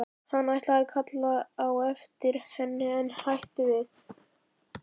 Hann ætlaði að kalla á eftir henni en hætti við.